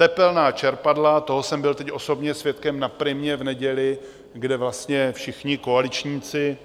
Tepelná čerpadla - toho jsem byl teď osobně svědkem na Primě v neděli, kde vlastně všichni koaličníci,